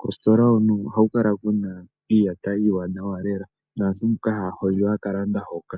Koositola hono ohaku kala kuna iiyata iiwanwa lela nantu mboka haya hondjo ohaya ka landa hoka.